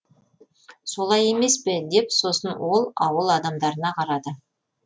солай емес пе деп сосын ол ауыл адамдарына қарады